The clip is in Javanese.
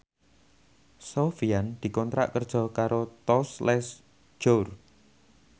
Sofyan dikontrak kerja karo Tous Les Jour